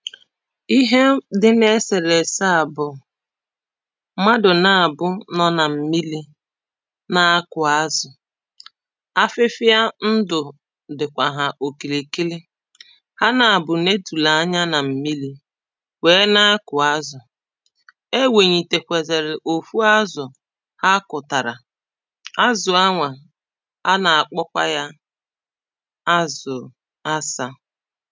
Ihe dị na eserese a bụ̀ mmadụ na abụọ nọ na mmili naa kụo azụ afịfịa ndụ dịkwa ha okilikili ha na abụọ netulu anya na mmili wee na kụọ azụ e wenyitekwazelu o tu azụ ha kụtarà azụ a nwa a na-akpọkwa ya azụụ asa